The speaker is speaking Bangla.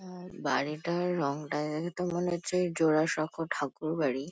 আর বাড়িটার রংটা দেখেতো মনে হচ্ছে জোড়াসাঁকোর ঠাকুর বাড়ি।